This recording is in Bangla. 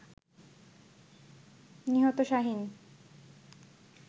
নিহত শাহীন